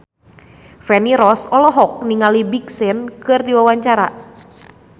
Feni Rose olohok ningali Big Sean keur diwawancara